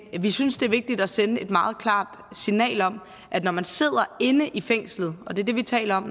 vi synes det er vigtigt at sende et meget klart signal om at når man sidder inde i fængslet og det er det vi taler om